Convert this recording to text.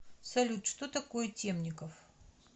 салют что такое темников